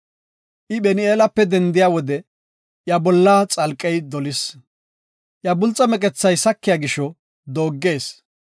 I Phin7eelape dendiya wode iya bolla xalqey dolis. Iya bulxe kessay sakiya gisho dogees.